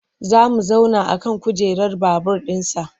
Za mu zauna a kan kujerar babur ɗinsa.